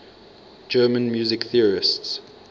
german music theorists